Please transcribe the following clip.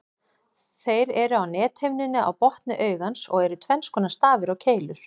Þeir eru á nethimnunni á botni augans og eru tvenns konar, stafir og keilur.